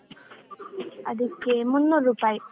ಅದಕ್ಕೆ ಮುನ್ನೂರ್ ರೂಪಾಯಿ.